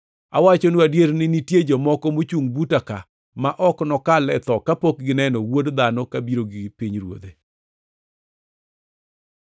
“Awachonu adier ni nitie jomoko mochungʼ buta ka ma ok nokal e tho kapok gineno Wuod Dhano kabiro gi pinyruodhe.”